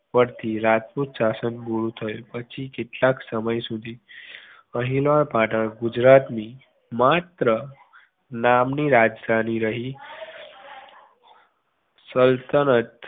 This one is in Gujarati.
પરથી રાજપૂત શાસન પૂરું થયું પછી કેટલાક સમય સુધી અણહીલવાડ પાટણ ગુજરાતની માત્ર નામની રાજધાની રહી સલ્તનત